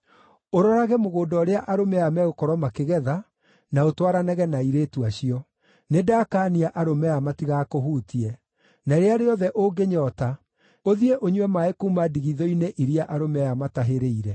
Ũrorage mũgũnda ũrĩa arũme aya megũkorwo makĩgetha, na ũtwaranage na airĩtu acio. Nĩndakaania arũme aya matigakũhutie. Na rĩrĩa rĩothe ũngĩnyoota, ũthiĩ ũnyue maaĩ kuuma ndigithũ-inĩ iria arũme aya matahĩrĩire.”